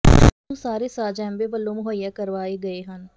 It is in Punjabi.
ਇਸ ਨੂੰ ਸਾਰੇ ਸਾਜ ਐਮਵੇਅ ਵੱਲੋਂ ਮੁਹੱਈਆ ਕਰਵਾਏ ਗਏ ਹਨ